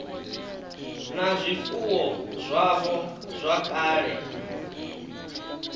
na zwifuwo zwavho zwa kale